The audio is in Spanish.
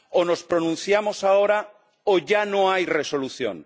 O nos pronunciamos ahora o ya no hay resolución.